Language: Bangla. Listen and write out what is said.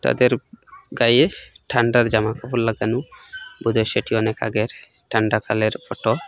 তাদের গায়ে ঠান্ডার জামাকাপড় লাগানো বোধ হয় সেটি অনেক আগের ঠান্ডা কালের ফটো ।